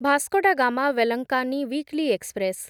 Vasco da Gama Velankanni weekly express